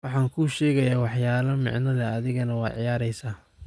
Waxan kuushegayax waxyala micnlex adhigana waiciyareysa.